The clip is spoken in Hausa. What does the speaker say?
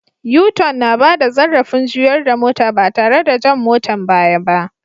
U- tun na bada zarrafin juyar da mota ba tare da jan motan baya ba.